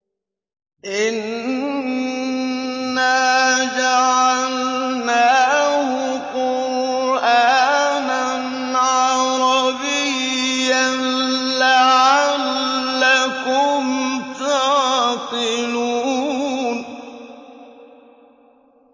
إِنَّا جَعَلْنَاهُ قُرْآنًا عَرَبِيًّا لَّعَلَّكُمْ تَعْقِلُونَ